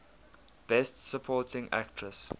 best supporting actress